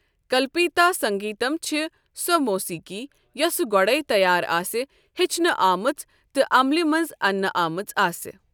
کلپیتا سنٛگیتم چھِ سۄ موسیقی یۄسٕہ گۄڈَے تیار آسِہ، ہیٚچھنہ آمٕژ تہٕ عملہِ منٛز اننہ آمژآسہ۔